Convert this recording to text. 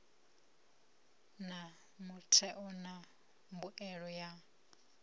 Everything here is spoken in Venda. na mutheo wa mbuelo ya